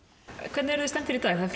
hvernig eruð þið stemmdir í dag það